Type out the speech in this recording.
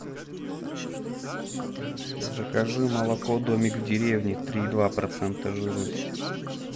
закажи молоко домик в деревне три и два процента жирности